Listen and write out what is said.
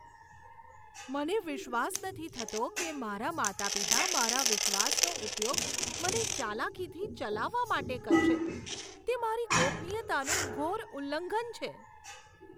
મને વિશ્વાસ નથી થતો કે મારા માતા પિતા મારા વિશ્વાસનો ઉપયોગ મને ચાલાકીથી ચલાવવા માટે કરશે. તે મારી ગોપનીયતાનું ઘોર ઉલ્લંઘન છે.